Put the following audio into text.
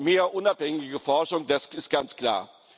Wir brauchen mehr unabhängige Forschung, das ist ganz klar.